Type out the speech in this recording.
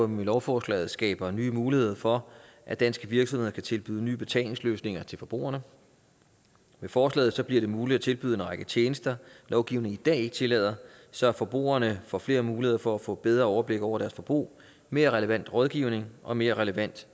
med lovforslaget skaber nye muligheder for at danske virksomheder kan tilbyde nye betalingsløsninger til forbrugerne med forslaget bliver det muligt at tilbyde en række tjenester lovgivningen i dag ikke tillader så forbrugerne får flere muligheder for at få bedre overblik over deres forbrug mere relevant rådgivning og mere relevant